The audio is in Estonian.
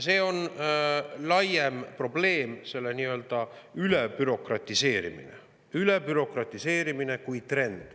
See on laiem probleem, see nii-öelda ülebürokratiseerimine kui trend.